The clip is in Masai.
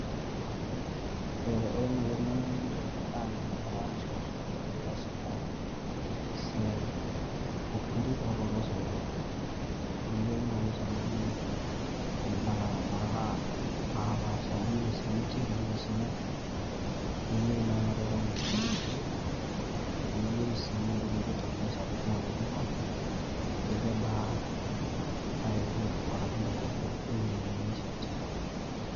Ore naaji eng`eno nitum tene naa keyieu naaji naa enaata ishomo sukuul nilo aisumiya esiai oo fundi kake oloo soitok. Niyieu naaji tene wueji imbaa naapaasha amu iyieu esimiti niyieu osunyai, niyieu naa nareta niasishore, niyieu sii entoki naijo tape measure pee etum ai pima ajo kebaa ewueji nifaa ashu en`doropo e wueji niyieu nishet.